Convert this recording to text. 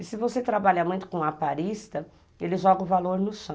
E se você trabalhar muito com o aparista, ele joga o valor no chão.